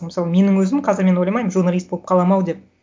мысалы менің өзім қазір мен ойламаймын журналист болып қаламын ау деп